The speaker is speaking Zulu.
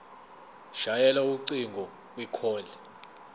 shayela ucingo kwicall